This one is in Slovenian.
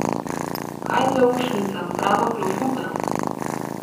Kaj zaušnica, prava klofuta!